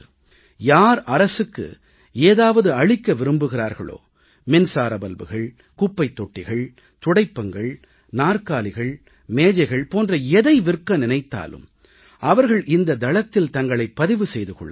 யார் அரசுக்கு ஏதாவது அளிக்க விரும்புகிறார்களோ மின்சார பல்புகள் குப்பைத் தொட்டிகள் துடைப்பங்கள் நாற்காலிகள் மேஜைகள் போன்ற எதை விற்க நினைத்தாலும் அவர்கள் இந்த தளத்தில் தங்களைப் பதிவு செய்து கொள்ளலாம்